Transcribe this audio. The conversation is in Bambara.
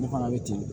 Ne fana bɛ ten